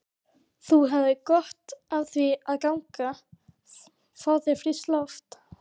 Þú hefðir gott af að ganga. fá þér frískt loft?